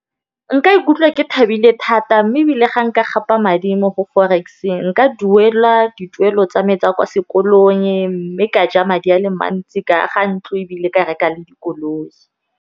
Nka ikutlwa ke thabile thata mme ebile ga nka gapa madi mo go forex-e nka duela dituelo tsa me tsa kwa sekolong, mme ka ja madi a le mantsi ka aga ntlo, ebile ka reka le dikoloi.